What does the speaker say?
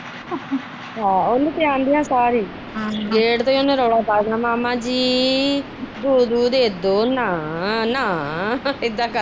ਹਾ ਉਹਨੇ ਤੇ ਆਂਦਿਆ ਸਾਰੀ ਹੀ ਗੇਟ ਤੇ ਉਹਨੇ ਰੋਲੀ ਪਾ ਦੇਣਾ ਮਾਮਾ ਜੀ ਦੁਧੂ ਦੇਦੋ ਨਾ ਨਾ ਨਾ ਇਦਾ ਕਰਦੀ।